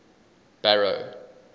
barrow